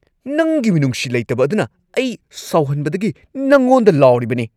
ꯅꯪꯒꯤ ꯃꯤꯅꯨꯡꯁꯤ ꯂꯩꯇꯕ ꯑꯗꯨꯅ ꯑꯩ ꯁꯥꯎꯍꯟꯕꯗꯒꯤ ꯅꯪꯉꯣꯟꯗ ꯂꯥꯎꯔꯤꯕꯅꯤ꯫